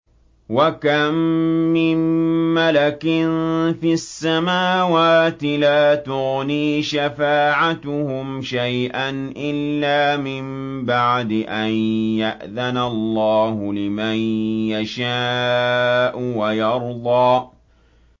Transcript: ۞ وَكَم مِّن مَّلَكٍ فِي السَّمَاوَاتِ لَا تُغْنِي شَفَاعَتُهُمْ شَيْئًا إِلَّا مِن بَعْدِ أَن يَأْذَنَ اللَّهُ لِمَن يَشَاءُ وَيَرْضَىٰ